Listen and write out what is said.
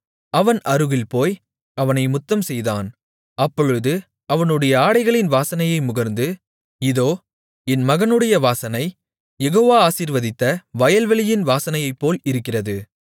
அவன் அருகில் போய் அவனை முத்தம்செய்தான் அப்பொழுது அவனுடைய ஆடைகளின் வாசனையை முகர்ந்து இதோ என் மகனுடைய வாசனை யெகோவா ஆசீர்வதித்த வயல்வெளியின் வாசனையைப்போல் இருக்கிறது